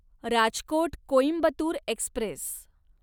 Rajkot Coimbatore Express